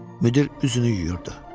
Müdir üzünü yuyurdu.